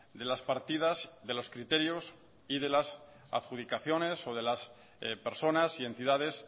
de las partidas de los criterios y de las adjudicaciones o de las personas y entidades